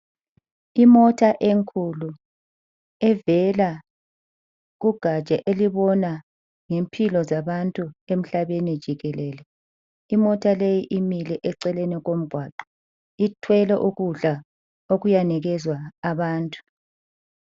Imota enkulu evela kugatsha elibona ngempilo zabantu emhlabeni jikelele. Imota leyi imile eceleni komgwaqo ithwele ukudla okuyanikezwa abantu.